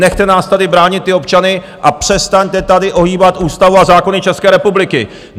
Nechte nás tady bránit ty občany a přestaňte tady ohýbat ústavu a zákony České republiky!